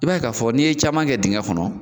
I b'a ye k'a fɔ n'i ye caman kɛ dengɛ kɔnɔ